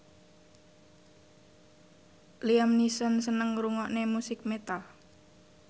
Liam Neeson seneng ngrungokne musik metal